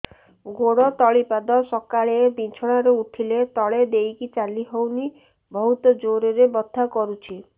ଗୋଡ ତଳି ପାଦ ସକାଳେ ବିଛଣା ରୁ ଉଠିଲେ ତଳେ ଦେଇକି ଚାଲିହଉନି ବହୁତ ଜୋର ରେ ବଥା କରୁଛି